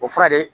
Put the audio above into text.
O fura de